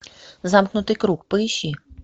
замкнутый круг поищи